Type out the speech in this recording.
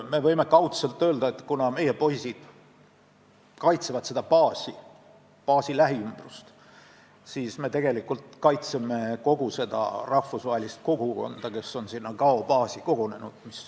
Me võime kaudselt öelda, et kuna meie poisid kaitsevad selle baasi lähiümbrust, siis me tegelikult kaitseme kogu seda rahvusvahelist kogukonda, kes on sinna Gao baasi kogunenud.